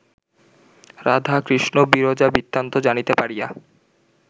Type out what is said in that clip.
রাধা, কৃষ্ণবিরজা-বৃত্তান্ত জানিতে পারিয়া